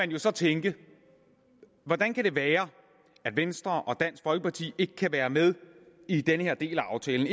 jo så tænke hvordan kan det være at venstre og dansk folkeparti ikke kan være med i denne del af aftalen